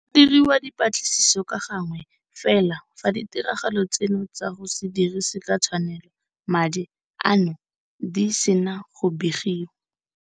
Go diriwa dipatlisiso ka gangwe fela fa ditiragalo tseno tsa go se dirise ka tshwanelo madi ano di sena go begiwa.